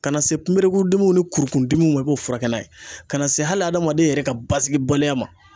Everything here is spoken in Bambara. Ka na se kunberekun dimiw ni kurukun dimiw ma, i b'o furakɛ n'a ye, ka na se hali hadamaden yɛrɛ ka basigibaliya ma